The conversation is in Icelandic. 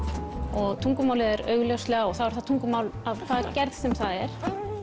og tungumálið er og þá er það tungumál að hvaða gerð sem er